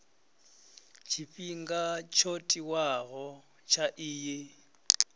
tshifhinga tsho tiwaho tsha iyi